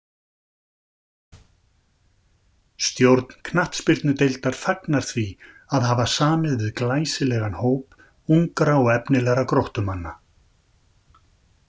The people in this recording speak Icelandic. Stjórn knattspyrnudeildar fagnar því að hafa samið við glæsilegan hóp ungra og efnilegra Gróttumanna.